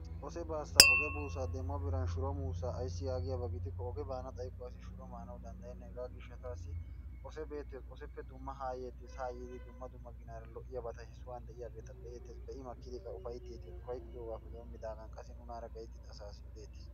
Ose baassa oge buussa demo biran shuro muussa ayissi yaagiyaba gidikko oge baan xayikko asi shuro maana danddayenna. Hegaa gishshataassi ose beettes. Oseppe dumma haa yeettes haa yiiddi dumma dumma ginaar lo'iyabata he sohuwan de'iyabata be'eettes. Be'i makkidi qa ufayitteettes. ufayittiyogaappe dommidaagan qassi nunaara gayittida asaassi odeettes.